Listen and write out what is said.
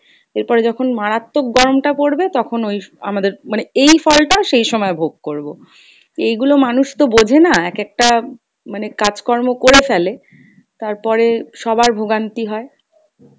এরপরে যখন মারাত্মক গরম টা পরবে তখন ওই আমাদের মানে এই ফল টা সেই সময় ভোগ করবো। এইগুলো মানুষ তো বোঝে না এক একটা মানে কাজ কর্ম করে ফেলে তারপরে সবার ভোগান্তি হয়।